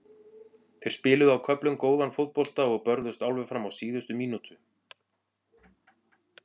Þeir spiluðu á köflum góðan fótbolta og börðust alveg fram á síðustu mínútu.